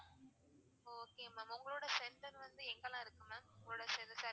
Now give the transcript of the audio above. okay ma'am உங்களோட center வந்து எங்கலாம் இருக்கு ma'am உங்களோட service